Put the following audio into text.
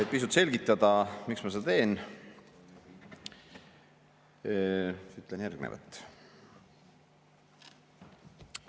Et pisut selgitada, miks ma seda teen, ütlen järgnevat.